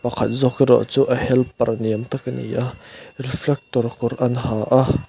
pakhat zawk erawh chu a helper ni awm tak a ni a refractor kawr an ha a.